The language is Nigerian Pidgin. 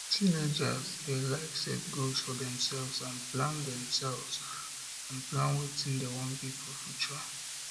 teenagers de like set goals for themselve and plan themselve and plan wetin dem won be for future